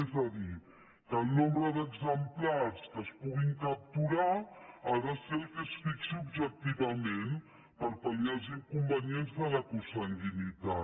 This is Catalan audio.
és a dir que el nombre d’exemplars que es puguin capturar ha de ser el que es fixi objectivament per pal·liar els inconvenients de la consanguinitat